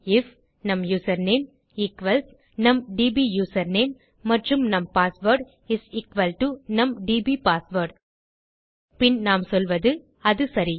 if நம் username equals நம் DB username மற்றும் நம் பாஸ்வேர்ட் இஸ் எக்குவல் டோ நம் டிபி பாஸ்வேர்ட் பின் நாம் சொல்வது அது சரி